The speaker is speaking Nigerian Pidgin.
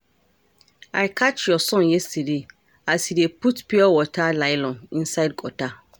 I catch your son yesterday as he dey put pure water nylon inside gutter